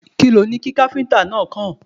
Kí loni kí Gbẹ́nàgbẹ́nà náà kọ̀?